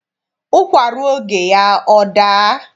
Ụkwa ruo oge ya, ọ daa.